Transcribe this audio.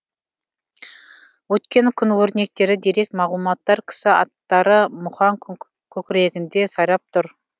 өткен күн өрнектері дерек мағлұматтар кісі аттары мұхаң көкірегінде сайрап тұр